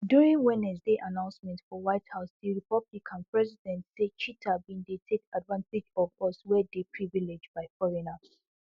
during wednesday announcement for white house di republican president say cheater bin dey take advantage of us wey dey privilage by foreigners